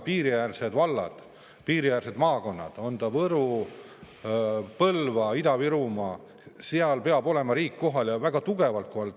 Piiriäärsed vallad, piiriäärsed maakonnad – Võru, Põlva, Ida-Virumaa – on need, kus riik peab kohal olema, ja väga tugevalt kohal olema.